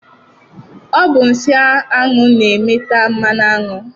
Ọ bụ nsị aṅụ na-eme ta mmanụ aṅụ.